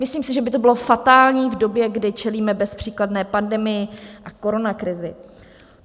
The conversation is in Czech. Myslím si, že by to bylo fatální v době, kdy čelíme bezpříkladné pandemii a koronakrizi.